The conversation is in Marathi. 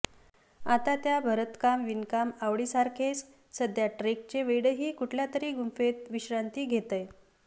आता त्या भरतकाम विणकाम आवडीसारखेच सध्या ट्रेकचे वेडही कुठल्यातरी गुंफेत विश्रांती घेतय